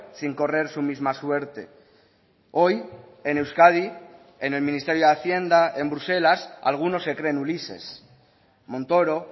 sin correr su misma suerte hoy en euskadi en el ministerio de hacienda en bruselas algunos se creen ulises montoro